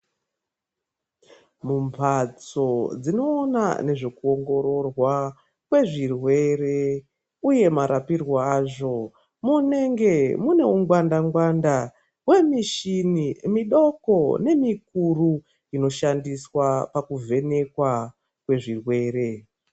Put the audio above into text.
Mu mbatso dzino ona nezve ku ongororwa kwe zvirwere uye marapirwo azvo munenge mune u ngwanda ngwanda ye mishini midoko ne mikuru ino shandiswa paku vhenekwa kwe zvirwere.